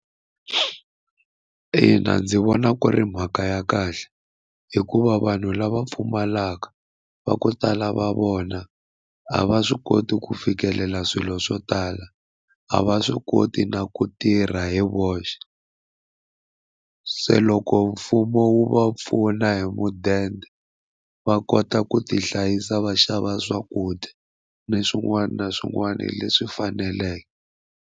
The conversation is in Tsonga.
Ina ndzi vona ku ri mhaka ya kahle hikuva vanhu lava pfumalaka va ku tala va vona a va swi koti ku fikelela swilo swo tala a va swi koti na ku tirha hi voxe se loko mfumo wu va pfuna hi mudende va kota ku ti hlayisa va xava swakudya ni swin'wana na swin'wana leswi faneleke.